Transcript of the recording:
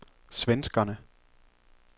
svenskerne